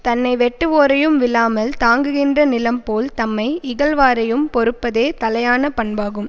தன்னை வெட்டுவோரையும் விழாமல் தாங்குகின்ற நிலம் போல் தம்மை இகழ்வாரையும் பொறுப்பதே தலையான பண்பாகும்